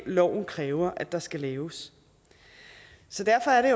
loven kræver der skal laves så derfor er det